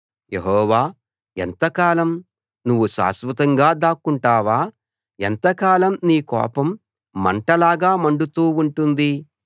యెహోవా ఎంతకాలం నువ్వు శాశ్వతంగా దాక్కుంటావా ఎంతకాలం నీ కోపం మంటలాగా మండుతూ ఉంటుంది